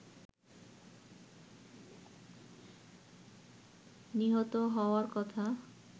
নিহত হওয়ার কথা